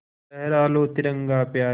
लहरा लो तिरंगा प्यारा